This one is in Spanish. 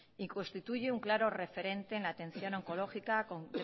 y constituye un claro referente en atención oncológica con